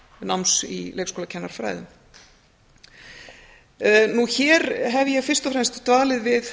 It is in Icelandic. náms í leikskólakennarafræðum hér hef ég fyrst og fremst dvalið við